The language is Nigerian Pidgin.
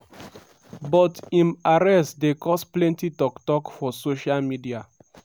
but im arrest dey cause plenty tok- tok for social media.